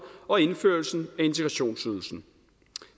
og indførelsen af integrationsydelsen